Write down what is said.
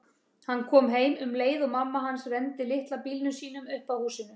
Hann kom heim um leið og mamma hans renndi litla bílnum sínum upp að húsinu.